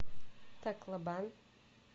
таклобан